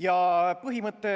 Ja põhimõte